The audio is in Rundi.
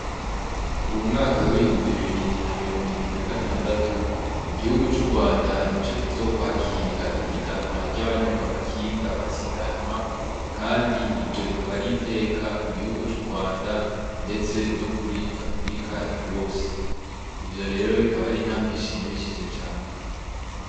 Uwu mwaka w'ibihumbi bibiri na mirongo ibiri na gatandatu igihugu cu Rwanda nico kizokwakira ihiganwa ryaba nyonga amakinga basiganwa kandi iryo rikaba ari iteka ku gihugu cu Rwanda ndetse no kuri Africa yose ivyo rero bikaba ari intambwe ishimishije cane.